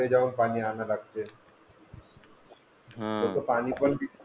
जाऊन पाणी आणा लागते लोक पाणी पण